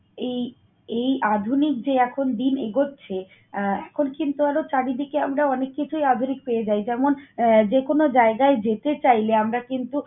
এই এই আধুনিক যে এখন দিন এগোচ্ছে আহ এখন কিন্তু আরো চারিদিকে আমরা অনেক কিছুই আধুনিক পেয়ে যাই। যেমন আহ যেকোনো জায়গায় যেতে চাইলে আমরা কিন্তু